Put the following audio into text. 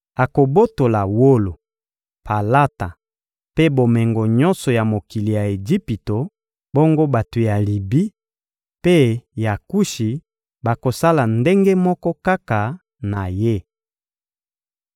Akobotola wolo, palata mpe bomengo nyonso ya mokili ya Ejipito, bongo bato ya Libi mpe ya Kushi bakosala ndenge moko kaka na ye.